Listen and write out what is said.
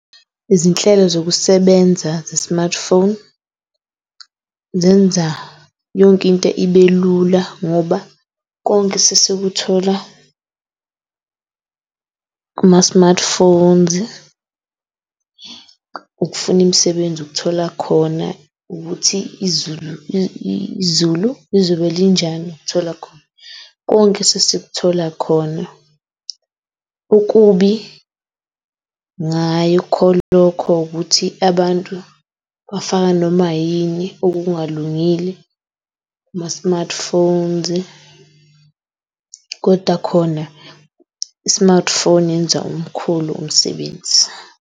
Izinhlelo zokusebenza ze-smartphone zenza yonke into ibelula ngoba konke sesikuthola kuma-smartphones. Ukufuna imisebenzi ukuthola khona, ukuthi izulu izobe linjani ukuthola khona. Konke sesikuthola khona. Ukubi ngay'kho lokho ukuthi abantu bafaka noma yini okungalungile kuma-smartphones kodwa khona i-smart phone yenza omkhulu umsebenzi.